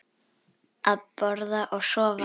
Borða og sofa.